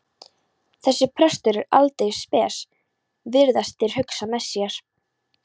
Þessi prestur er aldeilis spes, virðast þeir hugsa með sér.